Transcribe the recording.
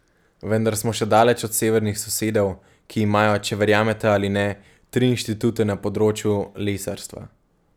Vendar smo še daleč od severnih sosedov, ki imajo, če verjamete ali ne, tri inštitute na področju lesarstva.